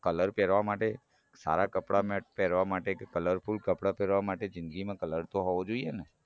colour પેરવા માટે સારા કપડાં પેરવા માટે કે colourful કપડાં પેરવા માટે જિંદગીમાં colour તો હોવો જોઈએને